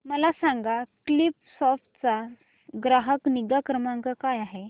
मला सांग की स्कीलसॉफ्ट चा ग्राहक निगा क्रमांक काय आहे